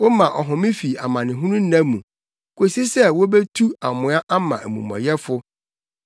Woma ɔhome fi amanehunu nna mu, kosi sɛ wobetu amoa ama amumɔyɛfo.